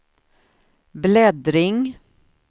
bläddring